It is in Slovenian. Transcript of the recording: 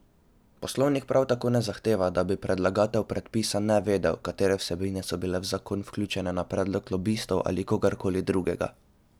Poslovnik prav tako ne zahteva, da bi predlagatelj predpisa navedel, katere vsebine so bile v zakon vključene na predlog lobistov ali kogarkoli drugega.